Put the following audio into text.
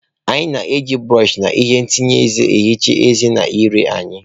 Anyị na-eji brọsh na ihe ntanye eze na-ehicha ezé na ire anyị.